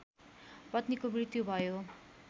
पत्नीको मृत्यु भयो